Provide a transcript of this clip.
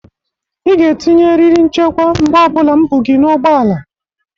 Ị ga-etinye eriri nchekwa mgbe ọ bụla m bụ gị n'ụgbọala!